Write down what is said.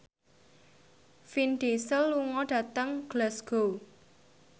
Vin Diesel lunga dhateng Glasgow